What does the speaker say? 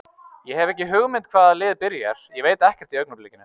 Ég hef ekki hugmynd hvaða lið byrjar, ég veit ekkert í augnablikinu.